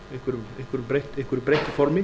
eða einhverju breyttu formi